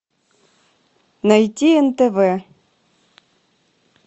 найти нтв